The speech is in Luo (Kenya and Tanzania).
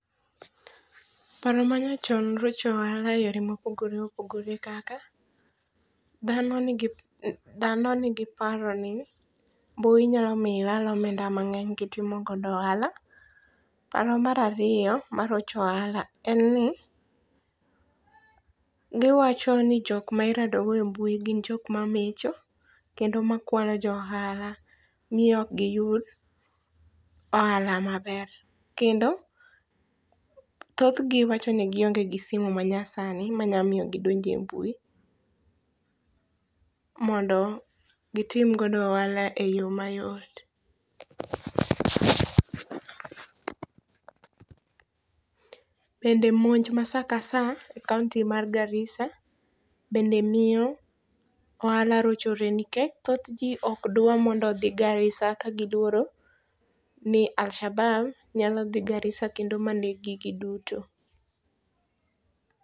Paro ma nyachon rocho ohala eyore mopogore opogore kaka dhano nigi dhano nigi paro. ni mbui nyalo miyo ilal omenda mang'eny kitimo godo ohala. Paro mar ariyo marocho ohala en ni giwacho ni jok ma irado go e mbui gin jok mamecho kendo makualo jo ohala. Miyo ok giyud ohala maber, kendo thothgi wacho ni gionge gi simu ma nyasani manyalo miyo gidonj e mbui mondo gitim go ohala e yo mayot. Bende monj ma saa ka saa e kaonti mar Garissa bende miyo ohala rochore nikech thoth ji ok dwar mondo odhi Garissa ka giluoro ni Alshabab nyalo dhi Garissa maneg gi giduto.